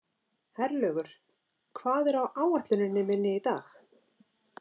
Herlaugur, hvað er á áætluninni minni í dag?